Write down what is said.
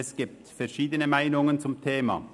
es gibt verschiedene Meinungen zum Thema.